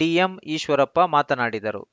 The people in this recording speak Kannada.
ಡಿಎಂ ಈಶ್ವರಪ್ಪ ಮಾತನಾಡಿದರು